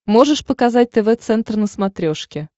можешь показать тв центр на смотрешке